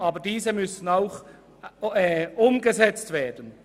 Aber diese müssen auch umgesetzt werden.